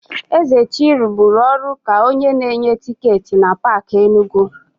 Ezechi rụburu ọrụ ka onye na-enye tịketị na Paakị Enugu.